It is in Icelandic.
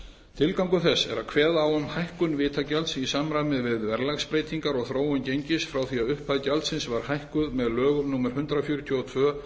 tilgangur þess er að kveða á um hækkun vitagjalds í samræmi við verðlagsbreytingar og þróun gengis frá því að upphæð gjaldsins var hækkuð með lögum númer hundrað fjörutíu og tvö